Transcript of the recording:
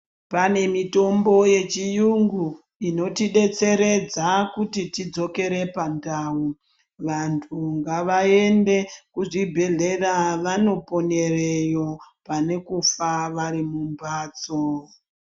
Panemitombo yechiyungu inotidetseredza kuti tidzokere pandau, vantu ngavaende kuzvibhedhlera vanoponereyo panekufa varimumhatso.